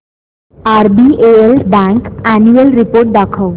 RBL bank annual report दाखव